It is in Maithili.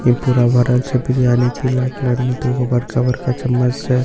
ई पूरा भरल छे बिरियानी पीला कलर मे दुगो बड़का बड़का चम्मच से छ--